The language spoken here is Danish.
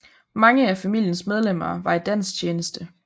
Mange af familiens medlemmer var i dansk tjeneste